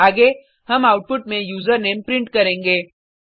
आगे हम आउटपुट में यूजर नामे प्रिंट करेंगे